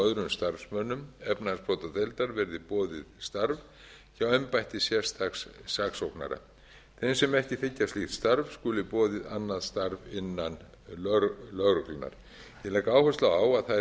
að embættismönnum og öðrum starfsmönnum efnahagsbrotadeildar verði boðið starf hjá embætti sérstaks saksóknara þeim sem ekki þiggja slíkt starf skuli boðið annað starf innan lögreglunnar ég legg áherslu á að þær